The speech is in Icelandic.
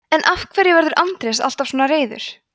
en af hverju verður andrés alltaf svona reiður